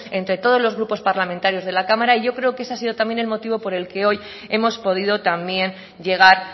entre todos los grupos parlamentarios de la cámara y yo creo que ese ha sido también el motivo por el que hoy hemos podido también llegar